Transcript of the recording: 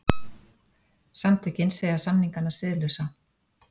Samtökin segja samningana siðlausa